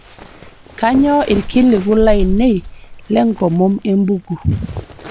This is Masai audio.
kainyio irkiliku lainei lenkomom embuku